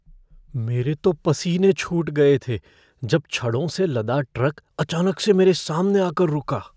मेरे तो पसीने छूट गए थे जब छड़ों से लदा ट्रक अचानक से मेरे सामने आकर रुका।